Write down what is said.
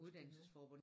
Uddannelsesforbund